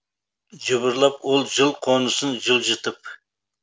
жыбырлап ол жыл қонысын жылжытып